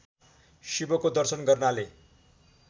शिवको दर्शन गर्नाले